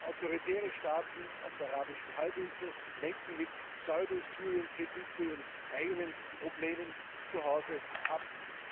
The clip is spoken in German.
Autoritäre Staaten auf der Arabischen Halbinsel lenken mit Pseudo Syrien Kritik von ihren eigenen Problemen zuhause ab.